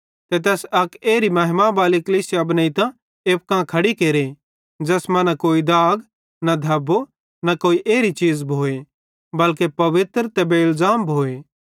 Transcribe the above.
ते तैस अक एरी महिमा बाली कलीसिया बनेइतां एप्पू कां खड़ी केरे ज़ैस मां न कोई दाग न धबो न कोई एरी चीज़ भोए बल्के पवित्र ते बेइलज़ाम भोए